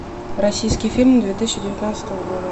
российский фильм две тысячи девятнадцатого года